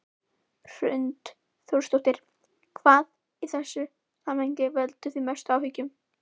Hrund Þórsdóttir: Hvað í þessu samhengi veldur þér mestum áhyggjum?